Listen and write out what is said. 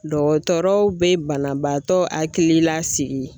Dɔgɔtɔrɔw be banabaatɔ akili la sigi